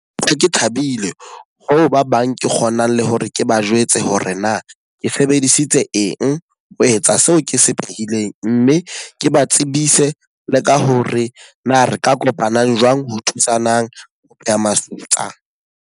Ke thabile ho ba bang ke kgonang le hore ke ba jwetse hore na ke sebedisitse eng, ho etsa seo ke se phehileng. Mme ke ba tsebise le ka hore na re ka kopanang jwang ho thusanang ho pheha masutsa.